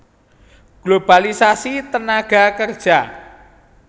Globalisasi tenaga kerja